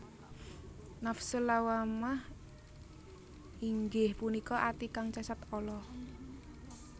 Nafsul Lawwamah inggih punika ati kang cacat ala